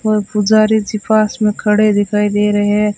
और पुजारी जी पास में खड़े दिखाई दे रहे है।